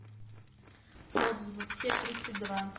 отзывы все тридцать два